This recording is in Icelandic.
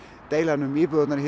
deilan um íbúðirnar hér